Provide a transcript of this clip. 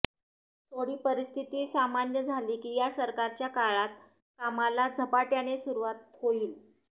थोडी परिस्थिती सामान्य झाली की या सरकारच्या काळात कामाला झपाट्याने सुरुवात होईल